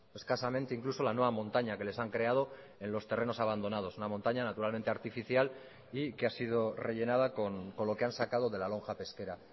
escasamente incluso la nueva montaña que les han creado en los terrenos abandonados una montaña naturalmente artificial y que ha sido rellenada con lo que han sacado de la lonja pesquera